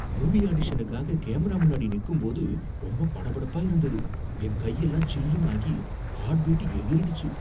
movie ஆடிஷனுக்காக camera முன்னாடி நிக்கும்போது ரொம்ப படபடப்பா இருந்தது, என் கையெல்லாம் சில்லுனு ஆகி ஹாட் பீட் எகிறிடுச்சி